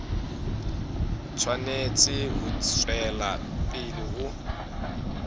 tshwanetse ho tswela pele ho